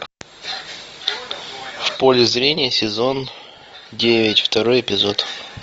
в поле зрения сезон девять второй эпизод